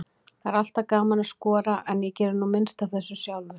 Það er alltaf gaman að skora, en ég geri nú minnst af þessu sjálfur.